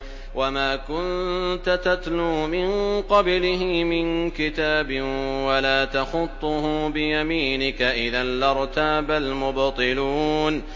وَمَا كُنتَ تَتْلُو مِن قَبْلِهِ مِن كِتَابٍ وَلَا تَخُطُّهُ بِيَمِينِكَ ۖ إِذًا لَّارْتَابَ الْمُبْطِلُونَ